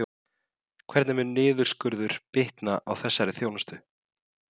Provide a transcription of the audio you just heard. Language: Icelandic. Hvernig mun þessi niðurskurður bitna á þessari þjónustu?